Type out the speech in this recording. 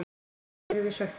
Af hverju erum við svekktir?